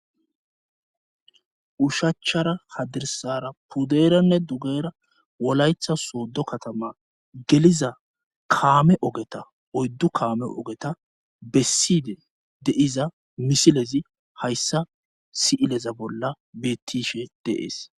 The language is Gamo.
ushachara hadirsara puderanne dugera wolaytha sooddo katama geliza kaame ogeta oyddu kaame ogeta besside deiza misilezi hayssa si7ileza bolla bettishe deees